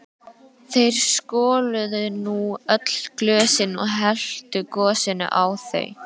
Þeir skoluðu nú öll glösin og helltu gosinu á þau.